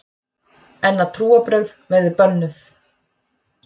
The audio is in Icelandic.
En að trúarbrögð verði bönnuð!